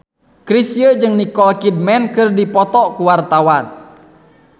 Chrisye jeung Nicole Kidman keur dipoto ku wartawan